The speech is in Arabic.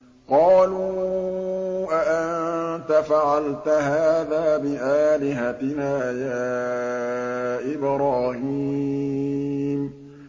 قَالُوا أَأَنتَ فَعَلْتَ هَٰذَا بِآلِهَتِنَا يَا إِبْرَاهِيمُ